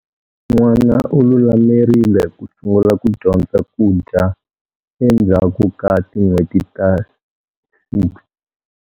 N'wana u lulamerile ku sungula ku dyondza ku dya endzhaku ka tin'hweti ta 6.